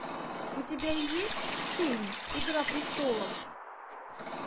у тебя есть фильм игра престолов